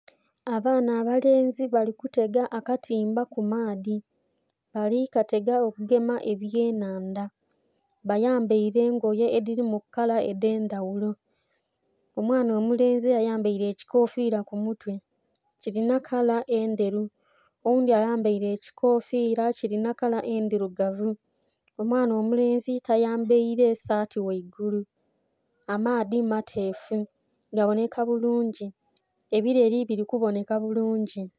Abaana abalenzi bali kutega akatimba ku maadhi bali katega okugema ebye nhandha bayambaire engoye edhili mu kala edhe ndhaghulo. Omwana omulenzi ayambaire ekikofira ku mutwe kilinha kala endheru, oghundhi ayambaire ekikofira kilinha kala endhirugavu, omwaana omulenzi yambaire saati ghaigulu. Amaadhi mateefu gabonheka bulungi, ebileeli bili ku bonheka bulungi.